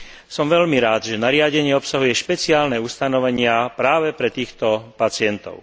Som veľmi rád, že nariadenie obsahuje špeciálne ustanovenia práve pre týchto pacientov.